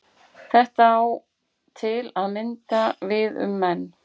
þetta á til að mynda við um menn